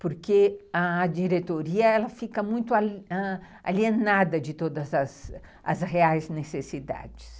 Porque a diretoria fica muito alienada de todas as as reais necessidades.